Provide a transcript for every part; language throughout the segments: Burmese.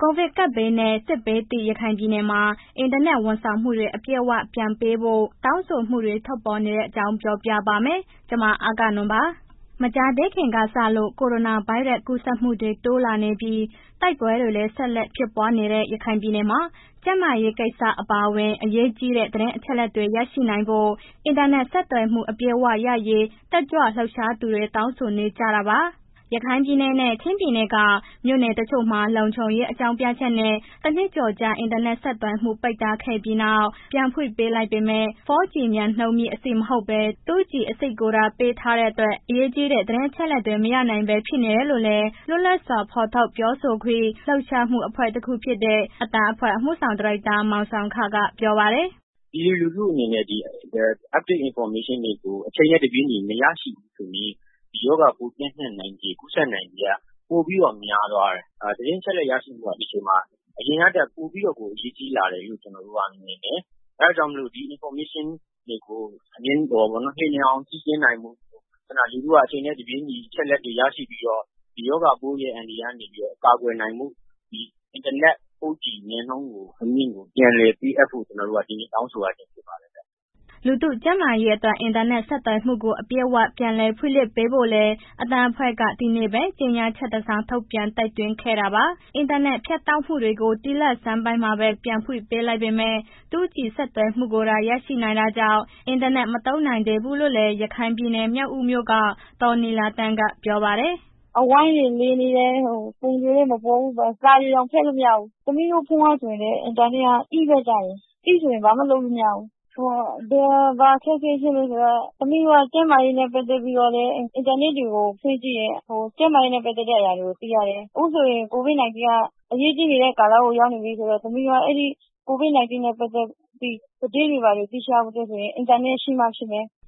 ကိုဗစ်ကပ်ဘေးနဲ့ စစ်ဘေးဒဏ်သင့် ရခိုင်ပြည်နယ်မှာ အင်တာနက် ဝန်ဆောင်မှုတွေ အပြည့်အ၀ ပြန်ဖွင့်ပေးဖို့ တောင်းဆိုမှုတွေ ထွက်ပေါ်လာနေတဲ့အကြောင်း ပြောပြပါမယ်။ ဗွီအိုအေမြန်မာပိုင်းသတင်းထောက် မအဂ္ဂနွန်က သတင်းပေးပို့ထားပါတယ်ရှင်။ မကြာသေးခင်ကစလို့ ကိုရိုနာဗိုင်းရပ်စ် ကူးစက်မှုတွေ တိုးလာနေပြီး၊ တိုက်ပွဲတွေလည်း ဆက်လက်ဖြစ်ပွားနေတဲ့ ရခိုင်ပြည်နယ်မှာ ကျန်းမာရေးကိစ္စ အပါအဝင် အရေးကြီးတဲ့ သတင်းအချက်အလက်တွေ ရရှိနိုင်ဖို့ အင်တာနက် ဆက်သွယ်မှုတွေ အပြည့်အဝရရေး တက်ကြွလှုပ်ရှားသူတွေ တောင်းဆိုနေကြတာပါ။ ရခိုင်ပြည်နယ်နဲ့ ချင်းပြည်နယ်က မြို့နယ်တချို့မှာ လုံခြုံရေး အကြောင်းပြချက်နဲ့ တနှစ်ကျော်ကြာ အင်တာနက် ဆက်သွယ်မှုတွေ ပိတ်ထားခဲ့ပြီးနောက် ပြန်ဖွင့်ပေးလိုက်ပေမဲ့ 4G မြန်နှုန်းမြင့်အဆင့် မဟုတ်ဘဲ 2G အဆင့်ကိုသာ ပေးထားတဲ့အတွက် အရေးကြီးတဲ့ သတင်းအချက်အလက်တွေ မရနိုင်ပဲ ဖြစ်နေရတယ်လို့လည်း လွတ်လပ်စွာ ထုတ်ဖော်ပြောဆိုခွင့် လှုပ်ရှားမှု အဖွဲ့တခုဖြစ်တဲ့ အသံအဖွဲ့ အမှုဆောင်ဒါရိုက်တာ မောင်ဆောင်းခ ကပြောပါတယ်။ “ပြည်သူလူထုအနေနဲ့ ဒီ Update information တွေကို အချိန်နဲ့ တပြေးညီမရရှိဘူးဆိုရင် ဒီရောဂါပိုးပျံ့နှံ့နိုင်ခြေ ကူးစက်နိုင်ခြေက ပိုပြီးတော့ များသွားတယ်၊ သတင်းရရှိမှုက ဒီအချိန်မှာ အရင်ကထက်ပိုပြီးတော့ကို အရေးကြီးလာတယ်လို့ ကျနော်တို့က မြင်တယ်။ အဲ့ဒါကြောင့်မို့လို့ ဒီ Information တွေကို လျင်မြန်အောင် ကြည့်ရှုနိုင်ဖို့ ခုဏ လူထုက အချိန်နဲ့ တပြေးညီ ဒီအချက်အလက်တွေ ရရှိပြီးတော့ ဒီရောဂါရဲ့ အန္တရာယ်ကနေပြီးတော့ ကာကွယ်နိုင်ဖို့ ဒီအင်တာနက် 4G မြန်နှုန်းကို ပြန်လည်ပေးအပ်ဖို့ ကျနော်တို့က ဒီနေ့တောင်းဆိုရဖြစ်ပါတယ်။” လူထုကျန်းမာရေးအတွက် အင်တာနက် ဆက်သွယ်မှုတွေကို အပြည့်အ၀ ပြန်လည်ဖွင့်လှစ်ပေးဖို့လည်း အသံအဖွဲ့က ဒီကနေ့ပဲ ကြေညာချက်တစောင် ထုတ်ပြန်တိုက်တွန်းခဲ့တာပါ။ အင်တာနက် ဖြတ်တောက်မှုတွေကို ဒီလဆန်းပိုင်းမှာပဲ ပြန်ဖွင့်ပေးလိုက်ပေမဲ့ 2G ဆက်သွယ်မှုသာ ရနိုင်တာကြောင့် အင်တာနက် မသုံးနိုင်သေးဘူးလို့လည်း ရခိုင်ပြည်နယ် မြောက်ဦးမြို့က ဒေါ်နီလာသန်းက ပြောပါတယ်။ “အဝိုင်းတွေ လယ်နေတယ်။ ပုံ ဆိုလည်းမပေါ်ဘူး၊ စာတွေတောင် ဖတ်လို့ မရဘူး၊ သမီးဖုန်းကဆိုရင် အင်တာနက်က E ပဲရတယ်၊ E ဆိုရင် ဘာမှာလုပ်လို့မရဘူး၊ ဘာအခက်အခဲရှိလည်းဆိုတော့ ကျန်းမာရေးနဲ့ ပတ်သက်ပြီးတော့လည်း အင်တာနက်တွေကို ဖွင့်ကြည့်တယ် ကျန်းမာရေးပတ်သက်တဲ့အရာတွေ သိရတယ်၊ အခုဆိုရင် COVID-19 က အရေးနေတဲ့ ကာလရောက်နေပြီးတော့ သမီးတို့က အဲ့ဒီ COVID -19 နဲ့ ပတ်သက်ပြီး သတင်းတွေဘာတွေသိရဖို့အတွက်ဆိုရင် အင်တာနက်ရှိမှဖြစ်မယ်။”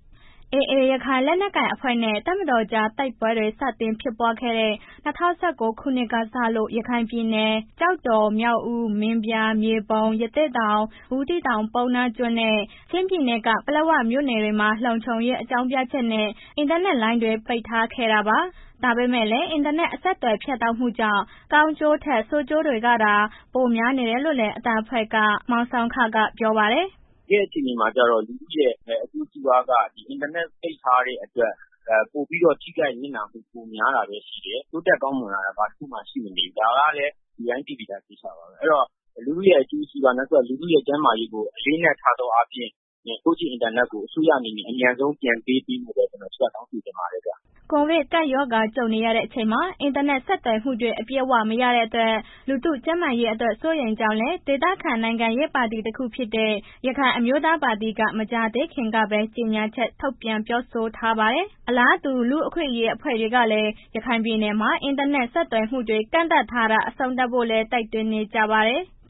AA ရခိုင်လက်နက်ကိုင်အဖွဲ့နဲ့ တပ်မတော်ကြား တိုက်ပွဲတွေ စတင်ဖြစ်ပွားခဲ့တဲ့ ၂၀၁၉ ခုနှစ်ကစလို့ ရခိုင်ပြည်နယ် ကျောက်တော်၊ မြောက်ဦး၊ မင်းပြား၊ မြေပုံ၊ ရသေ့တောင်၊ ဘူးသီးတောင်၊ ပုဏ္ဏားကျွန်းနဲ့ ချင်းပြည်နယ်က ပလက်ဝမြို့နယ်တွေမှာ လုံခြုံရေး အကြောင်းပြချက်နဲ့ အင်တာနက်လိုင်းတွေကို ပိတ်ထားခဲ့တာပါ။ ဒါပေမဲ့လည်း အင်တာနက် အဆက်အသွယ်ဖြတ်တောက်မှုကြောင့် ကောင်းကျိုးထက် ဆိုးကျိုးတွေကသာ ပိုများတယ်လို့လည်း အသံအဖွဲ့က မောင်ဆောင်းခက ပြောပါတယ်။ “တကယ့်အခြေအနေမှာကျတော့ လူထုရဲ့ အကျိုးစီးပွားက ဒီအင်တာနက်ပိတ်ထားတဲ့အတွက် ပိုပြီးတော့ ထိခိုက်နစ်နာမှုပိုများတာပဲ ရှိတယ်။ တိုးတက်ကောင်းမွန်လာတာ ဘာတစ်ခုမှရှိမနေဘူး။ လူတိုင်းသိပြီးသားကိစ္စ အဲ့တော့ သူ့ရဲ့ အကျိုးစီးပွား၊ သူ့ရဲ့ ကျန်းမာရေးကို အလေအနက်ထားသောအားဖြင့် 4G အင်တာနက်ကို အစိုးရအနေနဲ့ အမြန်ဆုံး ပြန်ပေးဖို့ တောင်းဆိုချင်ပါတယ်။” ကိုဗစ်ကပ်ရောဂါ ကြုံနေရချိန်မှာ အင်တာနက် ဆက်သွယ်မှုတွေ အပြည့်အဝမရတဲ့အတွက် လူထုကျန်းမာရေးအတွက် စိုးရိမ်ကြောင်းလည်း ဒေသခံ နိုင်ငံရေးပါတီတခုဖြစ်တဲ့ ရခိုင်အမျိုးသားပါတီက မကြာသေးခင်တုန်းကပဲ ကြေညာချက် ထုတ်ပြန်ပြောဆိုထားပါတယ်။ အလားတူ လူ့အခွင့်အရေး အဖွဲ့တွေကလည်း ရခိုင်ပြည်နယ်မှာ အင်တာနက်ဆက်သွယ်မှုတွေ ကန့်သတ်ထားတာ အဆုံးသတ်ဖို့လည်း တိုက်တွန်းနေကြပါတယ်။